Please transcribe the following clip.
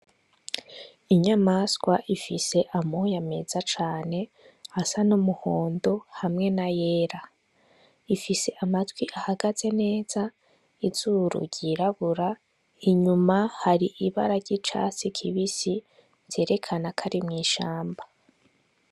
Inyamaswa ifise amoye ameza cane asa n'umuhondo hamwe na yera ifise amatwi ahagaze neza izuru ryirabura inyuma hari ibara ry'icatsi kibisi zerekana kari mw'ishamba.